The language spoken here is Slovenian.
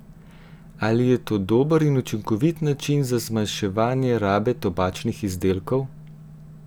Ali je to dober in učinkovit način za zmanjševanje rabe tobačnih izdelkov?